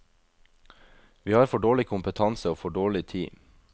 Vi har for dårlig kompetanse og for dårlig tid.